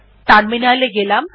terminal এ গেলাম